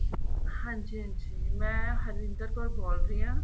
ਹਾਂਜੀ ਹਾਂਜੀ ਮੈਂ ਹਰਿੰਦਰ ਕੌਰ ਬੋਲ ਰਹੀ ਆਂ